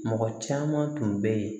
Mɔgɔ caman tun bɛ yen